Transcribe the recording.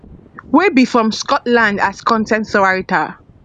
wey be from scotland as con ten t writer